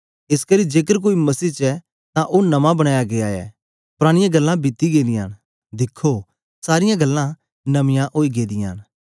एसकरी जेकर कोई मसीह च ऐ तां ओ नमां बनाया गीया ऐ परानीयां गल्लां बीती गेदियां न दिखो सारीयां गल्लां नमीयां ओई गेदियां न